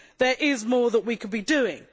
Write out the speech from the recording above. There is more that we could be doing.